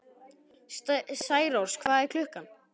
Særós, hvað er klukkan?